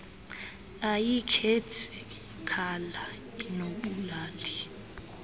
ayikhethi cala inobulali